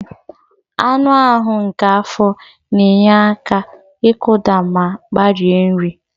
Anụ ahụ nke afọ na-enye aka ịkụda ma gbarie nri.